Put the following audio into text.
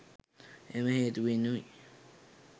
එම හේතුවෙනුයි